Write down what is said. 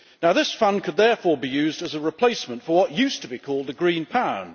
This fund could therefore be used as a replacement for what used to be called the green pound'.